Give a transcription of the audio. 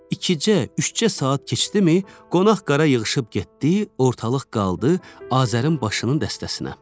İki c, üç c saat keçdimi, qonaq-qara yığışıb getdi, ortalıq qaldı Azərin başının dəstəsinə.